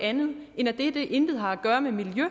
andet end at dette intet har at gøre med miljø